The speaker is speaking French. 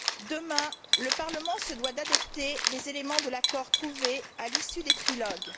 Demain, le Parlement se doit d'adopter les éléments de l'accord trouvé à l'issue des trilogues.